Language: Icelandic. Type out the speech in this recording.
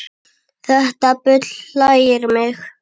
Þetta bull hlægir mig